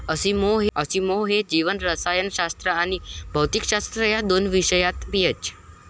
Asimov हे जीवरसायनशास्त्र आणि भौतिकशास्त्र या दोन विषयात पीएच.